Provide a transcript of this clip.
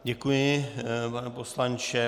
Děkuji, pane poslanče.